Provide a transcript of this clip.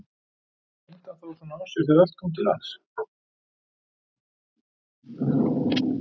Leyndi hann þá svona á sér þegar allt kom til alls?